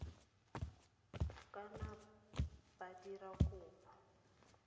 ka nna ba dira kopo